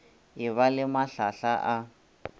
e ba le mahlahla a